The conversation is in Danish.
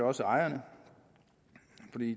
også ejerne